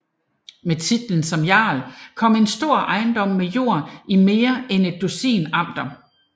Med titlen som jarl kom en stor ejendom med jord i mere end et dusin amter